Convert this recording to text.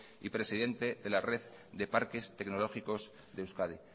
y presidente de la red de parques tecnológicos de euskadi